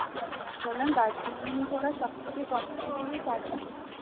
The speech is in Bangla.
বললাম দার্জিলিং এ ঘোরা সব থেকে কম price হলো চার পাঁচ